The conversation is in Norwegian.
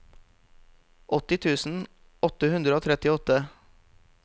åtti tusen åtte hundre og trettiåtte